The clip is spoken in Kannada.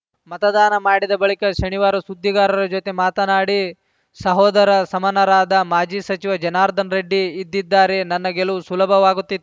ಮತದಾನ ಮಾಡಿದ ಬಳಿಕ ಶನಿವಾರ ಸುದ್ದಿಗಾರರ ಜೊತೆ ಮಾತನಾಡಿ ಸಹೋದರ ಸಮನರಾದ ಮಾಜಿ ಸಚಿವ ಜನಾರ್ದನ ರೆಡ್ಡಿ ಇದ್ದಿದ್ದಾರೆ ನನ್ನ ಗೆಲುವು ಸುಲಭವಾಗುತ್ತಿ